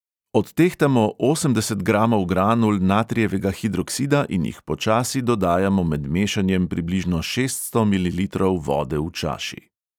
Odtehtamo osemdeset gramov granul natrijevega hidroksida in jih počasi dodajamo med mešanjem približno šeststo mililitrov vode v čaši.